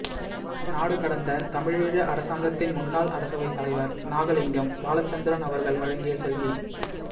நாடுகடந்த தமிழீழ அரசாங்கத்தின் முன்னாள் அரசவைத் தலைவர் நாகலிங்கம் பாலச்சந்திரன் அவர்கள் வழங்கிய செவ்வி